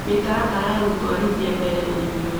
Mĩtaratara ya gũtũarithia mbere ũrĩmi ũyũ